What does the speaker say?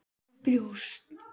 Og Bóas.